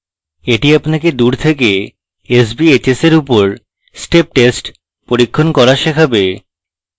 এটি আপনাকে দূর থেকে sbhs এর উপর step test পরীক্ষণ করা শেখাবে